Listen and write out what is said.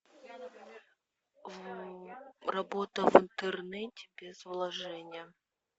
работа в интернете без вложения